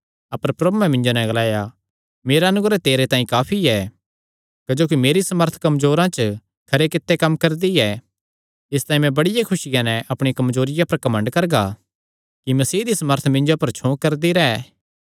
अपर प्रभुयैं मिन्जो नैं ग्लाया मेरा अनुग्रह तेरे तांई काफी ऐ क्जोकि मेरी सामर्थ कमजोरिया च खरे कित्ते कम्म करदी ऐ इसतांई मैं बड़ी खुसिया नैं अपणी कमजोरियां पर घमंड करगा कि मसीह दी सामर्थ मिन्जो पर छौं करदी रैंह्